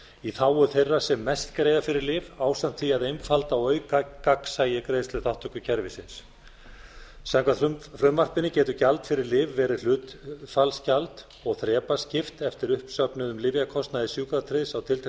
í þágu þeirra sem mest greiða fyrir lyf ásamt því að einfalda og auka gagnsæi greiðsluþátttökukerfisins samkvæmt frumvarpinu getur gjald fyrir lyf verið hlutfallsgjald og þrepaskipt eftir uppsöfnuðum lyfjakostnaði sjúkratryggðs á